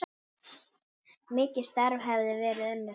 Mikið starf hefði verið unnið.